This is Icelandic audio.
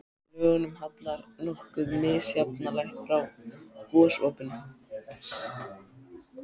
Lögunum hallar nokkuð misjafnlega frá gosopinu.